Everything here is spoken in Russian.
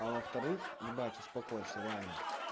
а во вторых ебать успокойся реально